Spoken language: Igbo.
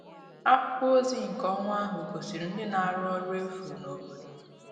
Akwụkwọ ozi nke ọnwa ahụ gosiri ndị na-arụ ọrụ efu n'obodo